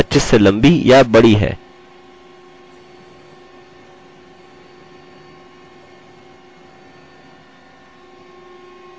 इन्हें अलगअलग करके देखते हैं और और लिखते हैं यदि आपके यूज़रनेम या फुलनेम की लम्बाई बहुत अधिक है